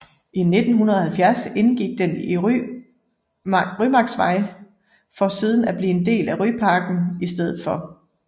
I 1970 indgik den i Rymarksvej for siden i 1989 at blive en del af Ryparken i stedet for